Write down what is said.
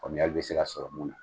Faamuyali bɛ se ka sɔrɔ mun na